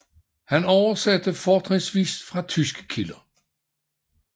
Han oversatte fortrinsvis fra tyske kilder